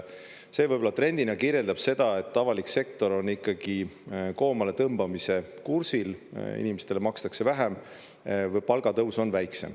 See võib-olla trendina kirjeldab seda, et avalik sektor on ikkagi koomaletõmbamise kursil, inimestele makstakse vähem või palgatõus on väiksem.